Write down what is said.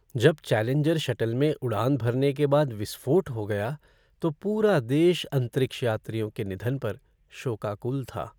जब Challenger shuttle में उड़ान भरने के बाद विस्फोट हो गया तो पूरा देश अंतरिक्ष यात्रियों के निधन पर शोकाकुल था।